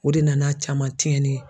O de nana caman tiɲɛni ye.